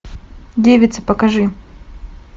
девица покажи